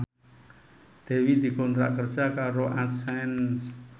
Dewi dikontrak kerja karo Accent